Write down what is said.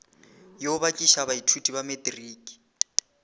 yo bakiša baithuti ba matriki